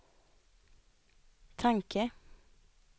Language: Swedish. tanke